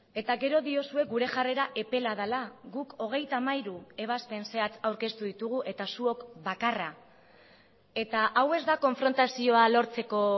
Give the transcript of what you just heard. eta gero diozue gure jarrera epela dela guk hogeita hamairu ebazpen zehatz aurkeztu ditugu eta zuok bakarra eta hau ez da konfrontazioa lortzeko